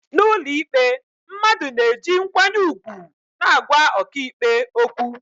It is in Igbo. n'ụlọikpe, mmadụ na-eji nkwanye ùgwù na-agwa ọkàikpe okwu